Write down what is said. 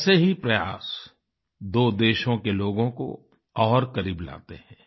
ऐसे ही प्रयास दो देशों के लोगों को और करीब लाते हैं